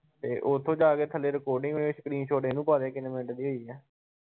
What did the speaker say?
ਤੇ ਉਥੋਂ ਜਾ ਕੇ ਥੱਲੇ recording screenshot ਇਹਨੂੰ ਪਾ ਦੇ ਕਿੰਨੇ ਮਿੰਟ ਦੀ ਹੋਈ ਆ?